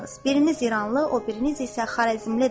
Biriniz iranlı, o biriniz isə xarəzmlidir.